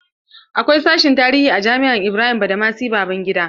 Akwai sashen tarihi a jami'ar Ibrahim badamasi Babangida.